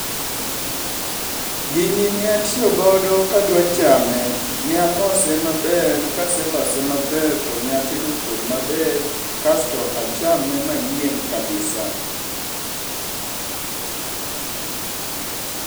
Gini ne atiyogodo kadwa chame, ne alose maber kaselose maber to neatedo kuon maber kasto achame mayieng' kabisa.